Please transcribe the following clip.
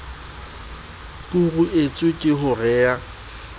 kuruetswa ke ho re a